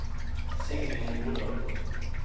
Signy Nordal